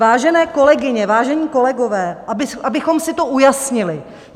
Vážené kolegyně, vážení kolegové, abychom si to ujasnili.